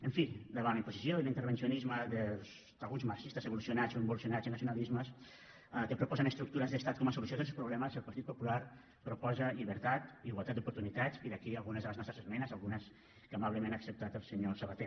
en fi davant la imposició i l’intervencionisme d’alguns marxistes evolucionats o involucionats en nacionalismes que proposen estructures d’estat com a solució dels problemes el partit popular proposa llibertat igualtat d’oportunitats i d’aquí algunes de les nostres esmenes algunes que amablement ha acceptat el senyor sabaté